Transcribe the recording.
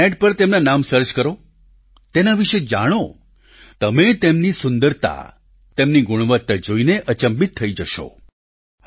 આપ ઈન્ટરનેટ પર તેમના નામ સર્ચ કરો તેના વિશે જાણો તમે તેમની સુંદરતા તેમની ગુણવત્તા જોઈને અચંબિત થઈ જશો